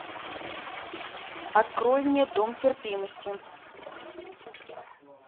открой мне дом терпимости